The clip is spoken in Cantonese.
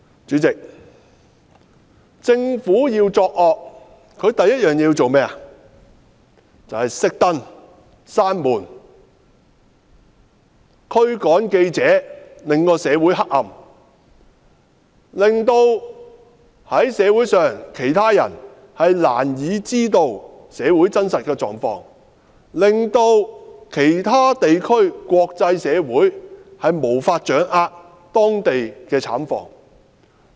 主席，政府要作惡，第一件事便是"熄燈"、關門，驅趕記者，讓社會變得黑暗，讓社會上其他人難以知道社會真實狀況，讓其他地區或國際社會無法掌握當地的慘況。